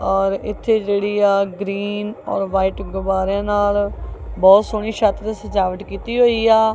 ਔਰ ਇੱਥੇ ਜਿਹੜੀ ਆ ਗ੍ਰੀਨ ਔਰ ਵਾਈਟ ਗੁਬਾਰਿਆਂ ਨਾਲ ਬਹੁਤ ਸੋਹਣੀ ਛੱਤ ਤੇ ਸਜਾਵਟ ਕੀਤੀ ਹੋਈ ਆ।